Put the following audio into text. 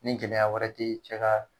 Ni gɛlɛya wɛrɛ te cɛ ka